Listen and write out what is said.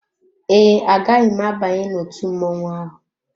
Ee, agaghị m abanye n'otú mmọnwụ ahụ.